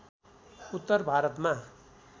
उत्तर भारतमा